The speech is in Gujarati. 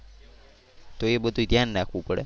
તો એ બધુ ધ્યાન રાખવું પડે.